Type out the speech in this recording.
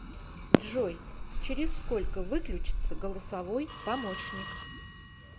джой через сколько выключится голосовой помощник